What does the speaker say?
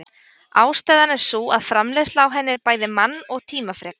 Ástæðan er sú að framleiðsla á henni en bæði mann- og tímafrek.